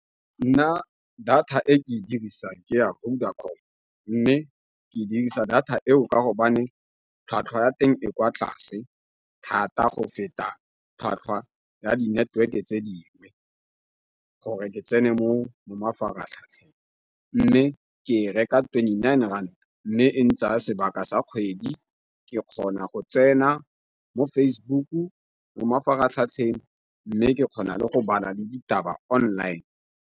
Nna data e ke dirisa ke ya Vodacom, mme ke dirisa data eo ka go tlhwatlhwa ya teng e kwa tlase thata go feta tlhwatlhwa ya di-neteweke tse dingwe, gore ke tsene mo mo mafaratlhatlheng. Mme ke reka twenty-nine rand mme e ntsaya sebaka sa kgwedi ke kgona go tsena mo Facebook, mo mafaratlhatlheng mme ke kgona le go bala le ditaba online.